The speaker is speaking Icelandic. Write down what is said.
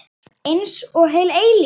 Einsog heil eilífð.